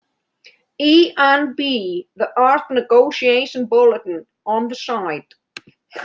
ENB- The Earth Negotiation Bulletin- on the side